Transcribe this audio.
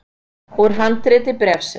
Úr handriti bréfsins